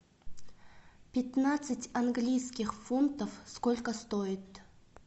пятнадцать английских фунтов сколько стоит